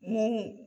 Mun